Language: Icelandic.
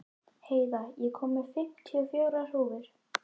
Heiða, ég kom með fimmtíu og fjórar húfur!